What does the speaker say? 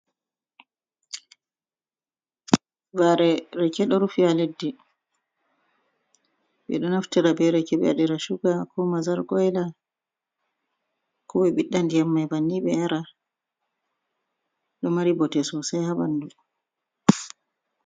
Vare rake ɗo rufi ha leddi. Ɓeɗo naftira be rake ɓe waɗira suga, ko mazar kwaila, ko ɓe ɓiɗɗa ndiyam mai banni ɓe yara. Ɗo mari bote sosai ha ɓandu.